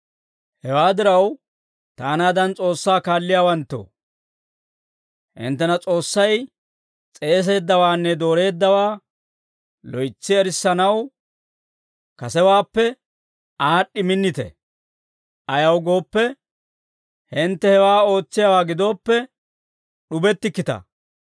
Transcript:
Hewaa diraw, taanaadan S'oossaa kaalliyaawanttoo, hinttena S'oossay s'eeseeddawaanne dooreeddawaa loytsi erissanaw, kasewaappe aad'd'i minnite; ayaw gooppe, hintte hewaa ootsiyaawaa gidooppe, d'ubettikkita.